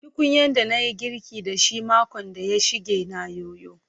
Tukunyan da na yi girkin da shi makon da ya shige na yoyo.